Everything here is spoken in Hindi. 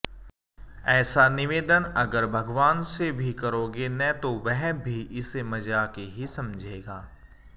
ऐसा निवेदन अगर भगवान से भी करोगे न तो वह भी इसे मजाक ही समझेगा